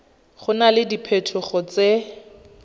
go na le diphetogo tse